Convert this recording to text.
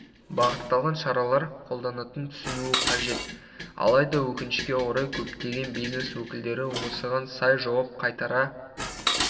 бағытталған шаралар қолданатанын түсінуі қажет алайда өкінішке орай көптеген бизнес өкілдері осыған сай жауап қайтара